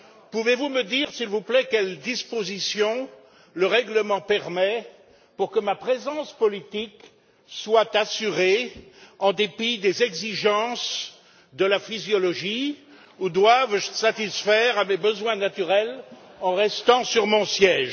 Pouvez vous me dire, s'il vous plaît, quelles dispositions le règlement permet pour que ma présence politique soit assurée en dépit des exigences de la physiologie ou dois je satisfaire à mes besoins naturels en restant sur mon siège?